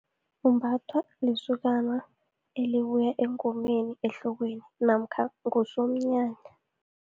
Umbathwa lisokana elibuya engomeni, ehlokweni namkha ngusomnyanya.